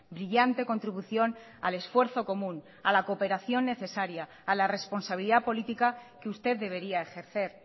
brillante contribución al esfuerzo común a la cooperación necesaria a la responsabilidad política que usted debería ejercer